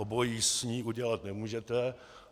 Obojí s ní udělat nemůžete.